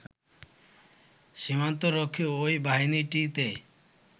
সীমান্ত রক্ষী ওই বাহিনীটিতে